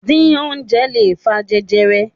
Díín oúnjẹ lè fa jẹjẹrẹ.